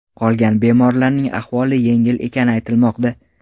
Qolgan bemorlarning ahvoli yengil ekani aytilmoqda.